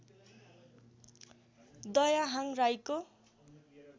दयाहाङ राईको